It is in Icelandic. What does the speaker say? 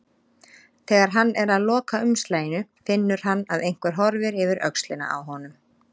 Þegar hann er að loka umslaginu finnur hann að einhver horfir yfir öxlina á honum.